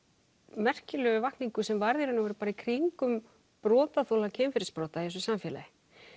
merkilegu vakningu sem varð í raun og veru bara í kringum brotaþola kynferðisbrota í þessu samfélagi